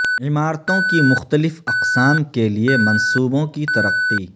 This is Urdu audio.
عمارتوں کی مختلف اقسام کے لئے منصوبوں کی ترقی